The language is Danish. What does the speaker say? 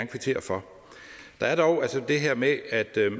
kvittere for der er dog altså det her med